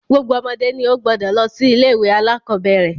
Gbogbo ọmọdé ni wọ́n gbúdọ̀ lọ sí ilé-ìwé alákọ̀bẹ́ẹ́rẹ̀.